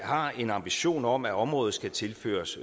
har en ambition om at området skal tilføres